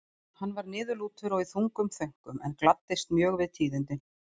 Hann var niðurlútur og í þungum þönkum en gladdist mjög við tíðindin.